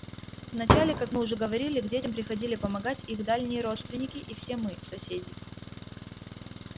вначале как мы уже говорили к детям приходили помогать их дальние родственники и все мы соседи